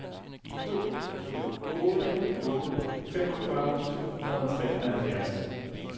to to otte otte femogfyrre to hundrede og treoghalvfjerds